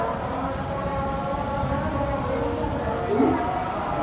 ହଁ ଗାଈ ଦେହ ଭଲ ଅଛି ତା ପାଇଁ